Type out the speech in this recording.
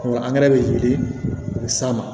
angɛrɛ bɛ yiri o bɛ s'an ma